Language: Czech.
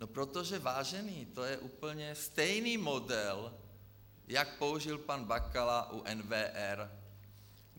No protože, vážení, to je úplně stejný model, jako použil pan Bakala u NWR.